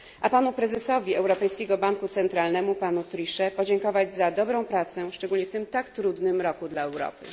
A prezesowi Europejskiego Banku Centralnego panu Trichetowi pragnę podziękować za dobrą pracę, szczególnie w tym tak trudnym roku dla Europy.